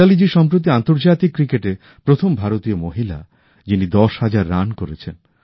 মিতালীজি সম্প্রতি আন্তর্জাতিক ক্রিকেটে প্রথম ভারতীয় মহিলা যিনি দশ হাজার রান করেছেন